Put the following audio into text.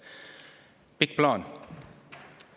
Pikk plaan.